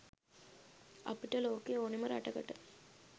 අපිට ලෝකේ ඕනෙම රටකට